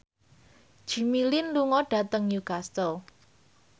Jimmy Lin lunga dhateng Newcastle